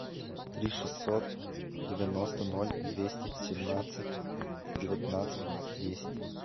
три шестьсот девяносто ноль двести семнадцать девятнадцать десять